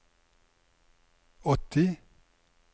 åtti